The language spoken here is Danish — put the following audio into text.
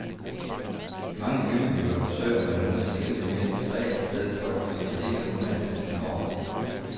I mange bymiljøer forsøger man nu at skilte mere diskret i stedet for at klistre hele underetagen over.